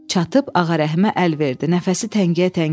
Çatıb Ağa Rəhimə əl verdi nəfəsi təngiyə-təngiyə.